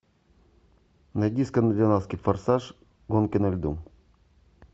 найди скандинавский форсаж гонки на льду